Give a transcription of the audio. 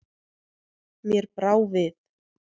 Mér brá við.